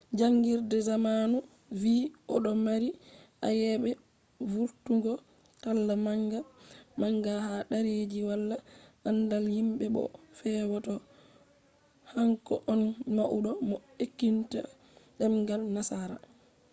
jangirde zamanu vi odo mari ayebe vurtungo talla manga manga ha derreji wala andal himbe bo o fewa do hanko on maudo mo enkitinta demgal nasara